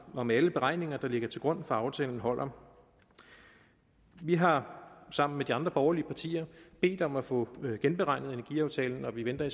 om alle beregninger der ligger til grund for aftalen holder vi har sammen med de andre borgerlige partier bedt om at få genberegnet energiaftalen og vi venter